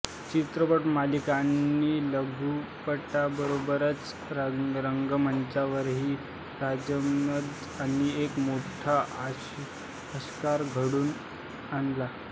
चित्रपट मालिका आणि लघुपटांबरोबरच रंगमंच्यावरही राजदत्त यांनी एक मोठा आविष्कार घडून आणला